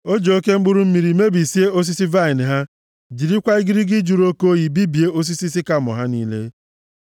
O ji oke mkpụrụ mmiri mebie osisi vaịnị ha, jirikwa igirigi jụrụ oke oyi bibie osisi sikamọ ha niile.